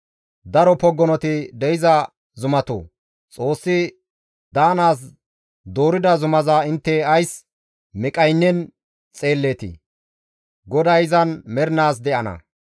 Daro poggonoti de7iza zumatoo! Xoossi daanaas doorida zumaza intte ays miqqaynen xeelleetii? GODAY izan mernaas de7ana.